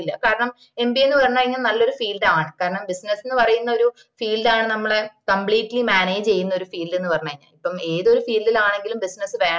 കാരണം mba എന്ന് പറഞ് കഴിഞ്ഞ നല്ലൊരു field ആണ് കാരണം business എന്ന് പറയുന്നൊരു field ആണ് നമ്മള compleatly manage ചെയ്യുന്ന ഒരു field എന്ന് പറഞ്ഞ ഇപ്പം ഏതൊരു field ലാണെങ്കിലും business വേണം